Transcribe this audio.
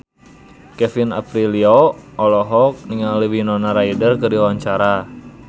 Kevin Aprilio olohok ningali Winona Ryder keur diwawancara